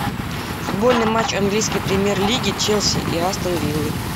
футбольный матч английской премьер лиги челси и астон виллы